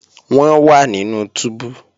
Wọ́n wà nínú túbú